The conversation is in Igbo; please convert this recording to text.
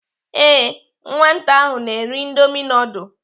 Ee nwata ahụ na-eri indomi nudul.